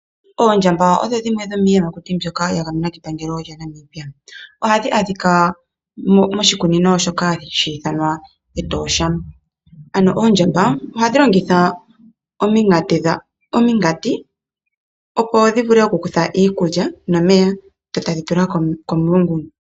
Oondjamba odho dhimwe dhomiiyamakuti mbyoka ya gamenwa kepangelo lyaNamibia. Ohadhi adhika moshikunino shoka hashi ithanwa Etosha. Ano oondjamba ohadhi longitha ominkati, opo dhi vule okukutha iikulya nomeya dho tadhi tula komulungu.